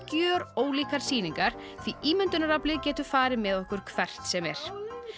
gjörólíkar sýningar því ímyndunaraflið getur farið með okkur hvert sem er